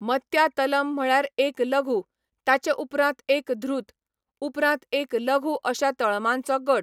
मत्या तलम म्हळ्यार एक लघु, ताचे उपरांत एक धृत, उपरांत एक लघु अशा तळमांचो गट.